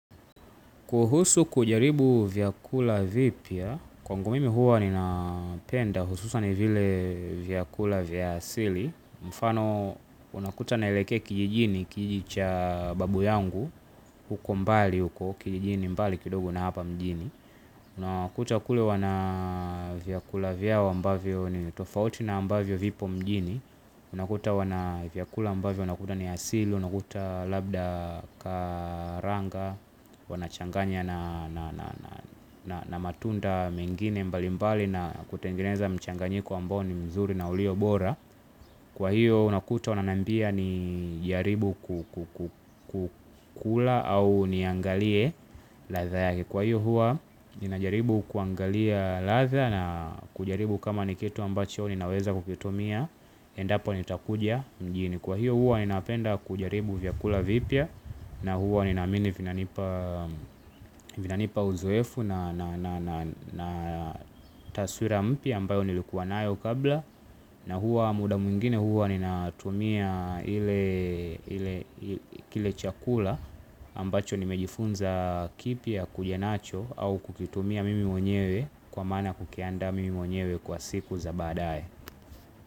Kuhusu kujaribu vyakula vipya, kwangu mimi huwa ninapenda hususan vile vyakula vya asili, mfano unakuta naelekea kijijini kijiji cha babu yangu, huko mbali, huko kijijini mbali kidogo na hapa mjini. Unakuta kule wana vyakula vyao ambavyo ni tofauti na ambavyo vipo mjini. Unakuta wana vyakula ambavyo, unakuta ni asili, unakuta labda karanga. Wanachanganya na matunda mengine mbali mbali na kutengeneza mchanganyiko ambao ni mzuri na uliobora. Kwa hiyo unakuta wananambia ni jaribu kukula au niangalie ladha yake. Kwa hiyo huwa ninajaribu kuangalia ladha na kujaribu kama nikitu ambacho ninaweza kukitumia endapo nitakuja mjini. Kwa hiyo huwa ninapenda kujaribu vyakula vipya na huwa ninaamini vinanipa uzoefu na taswira mpya ambayo nilikuwa nayo kabla na huwa muda mwingine huwa nina tumia ile chakula ambacho nimejifunza kipya kuja nacho au kukitumia mimi mwenyewe kwa maana kukiandaa mimi mwenyewe kwa siku za badaye.